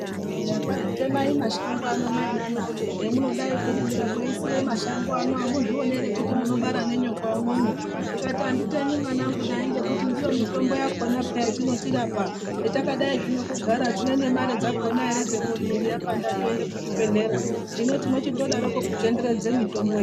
Eya! Kwai temai mashango anaya mainana hemunodayi kurimire mweisiye mashango ano amuzvioni ere kuti munobara nenyoka umwomwo ndikati anditemi mwanangu nayi ngekuti ndiyo mitombo yakona peya inotirapa hetakadayi zvino kugara hatina nemare yakona yekuti mwiri yapanda tingaende kuzvibhehlera hino tinochindodaro kutenderedze mitombo ino.